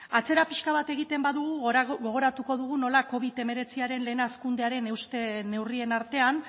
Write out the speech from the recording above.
atzera pixka bat egiten badugu gogoratuko dugu nola covid hemeretziaren lehen hazkundearen euste neurrien artean